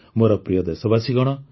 ମୋର ପ୍ରିୟ ଦେଶବାସୀଗଣ